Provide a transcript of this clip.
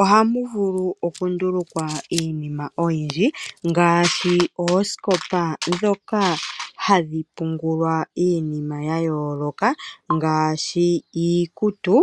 oha mu vulu okundulukwa iinima oyindji ngaashi oosikopa ndhoka hadhi pungulwa iinima ya yooloka, ngaashi iikutu